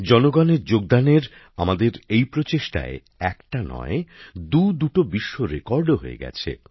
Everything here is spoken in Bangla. জনগণের যোগদানের আমাদের এই প্রচেষ্টায় একটা নয় দুদুটো বিশ্ব রেকর্ডও হয়ে গেছে